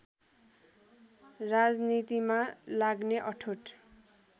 राजनीतिमा लाग्ने अठोट